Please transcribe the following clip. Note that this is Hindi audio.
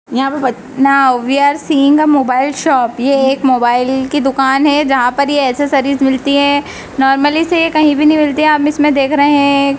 यहां पे but now we are seeing a mobile shop ये एक मोबाइल की दुकान है जहां पर ये एसेसरीज मिलती है नॉर्मली से ये कहीं भी नहीं मिलती आप इसमें देख रहे हैं ये --